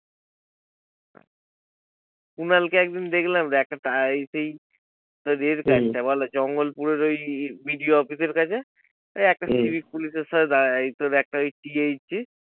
কুণালকে একদিন দেখলাম তো একটা জঙ্গলপুরের ওই বিডিও অফিসের কাছে ওই হম একটা civic পুলিশের সাথে একটা